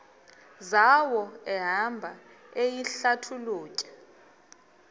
zawo ehamba eyihlalutya